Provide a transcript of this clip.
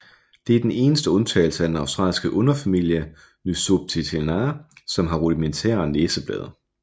Den eneste undtagelse er den australske underfamilie Nyctophilinae som har rudimentære næseblade